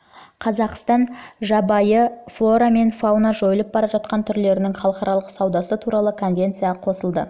жылы қазақстан жабайы флора мен фаунаның жойылып бара жатқан түрлерінің халықаралық саудасы туралы конвенцияға қосылды